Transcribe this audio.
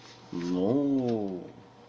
ну